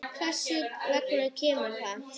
Hvers vegna kemur það?